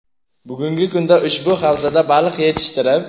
Bugungi kunda ushbu havzada baliq yetishtirib.